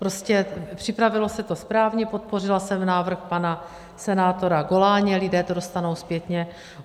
Prostě připravilo se to správně, podpořila jsem návrh pana senátora Goláně, lidé to dostanou zpětně.